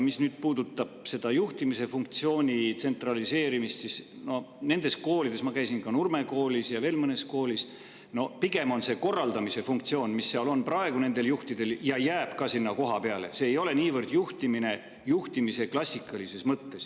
Mis puudutab juhtimise funktsiooni tsentraliseerimist, siis nendes koolides – ma käisin Nurme Koolis ja veel mõnes koolis – on see pigem korraldamise funktsioon, mis nendel juhtidel seal on ja mis jääb sinna ka, see ei ole niivõrd juhtimine klassikalises mõttes.